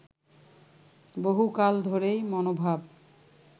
বহুকাল ধরেই মনোভাব